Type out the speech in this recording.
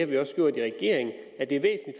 vi også gjort i regering at det